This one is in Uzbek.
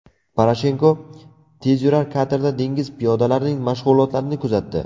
Poroshenko tezyurar katerda dengiz piyodalarining mashg‘ulotlarini kuzatdi.